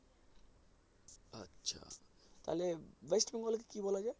তাহলে West Bengal কে কী বলা যায়?